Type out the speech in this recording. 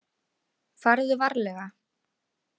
Farðu varlega.